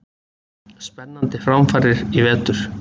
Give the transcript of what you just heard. Spennandi framfarir í vetur!!